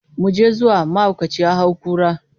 Mu je zuwa, mahaukaci ya hau kura.